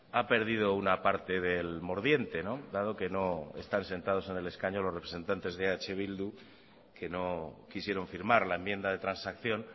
ha perdido una parte del mordiente dado que no están sentados en el escaño los representantes de eh bildu que no quisieron firmar la enmienda de transacción